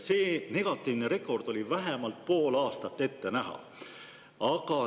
See negatiivne rekord oli vähemalt pool aastat ette näha.